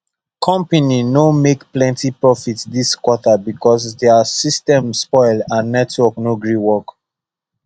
company no make plenty profit this quarter because their system spoil and network no gree work